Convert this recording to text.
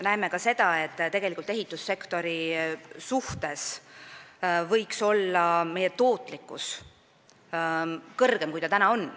Näeme ka seda, et tegelikult ehitussektoris võiks tootlikkus olla suurem, kui see on.